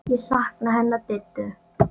Ég sakna hennar Diddu.